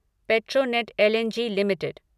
Petronet L and G limited